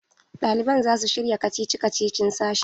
Ɗaliban za su shirya kacici-kacicin sashin.